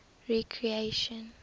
recreation